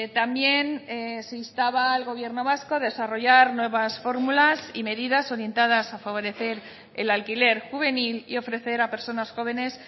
también se instaba al gobierno vasco a desarrollar nuevas fórmulas y medidas orientadas a favorecer el alquiler juvenil y ofrecer a personas jóvenes